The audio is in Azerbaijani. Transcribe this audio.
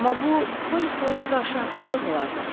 Amma bu Polly xalaya qarşı haqsızlıq olardı.